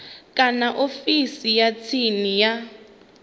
kana ofisini ya tsini ya